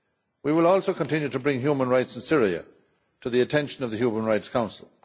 We will also continue to bring human rights in Syria to the attention of the Human Rights Council.